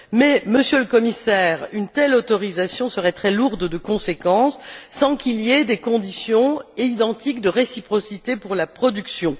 Mais, Monsieur le Commissaire, une telle autorisation serait très lourde de conséquences sans qu'il y ait des conditions identiques de réciprocité pour la production.